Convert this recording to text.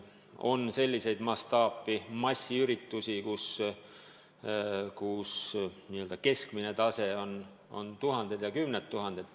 On selliseid mastaapseid massiüritusi, kus keskmine osalejaskond on tuhanded ja kümned tuhanded.